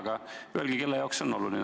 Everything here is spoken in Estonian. Aga öelge, kelle jaoks see on oluline.